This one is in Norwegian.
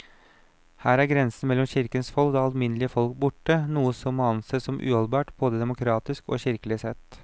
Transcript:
Her er grensen mellom kirkens folk og det alminnelige folk borte, noe som må ansees som uholdbart både demokratisk og kirkelig sett.